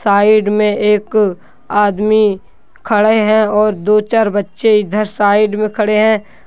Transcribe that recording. Side में एक आदमी खड़े हैं और दो चार बच्चे इधर साइड में खड़े हैं।